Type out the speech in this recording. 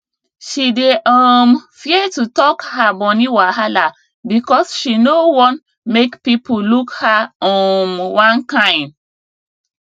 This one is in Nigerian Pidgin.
she dey um fear to talk her money wahala because she no wan make people look her um one kain